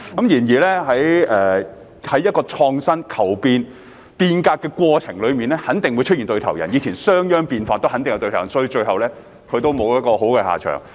然而，在創新、求變、變革的過程中肯定會出現對頭人，以前商鞅變法亦有對頭人，最後他也沒有好下場。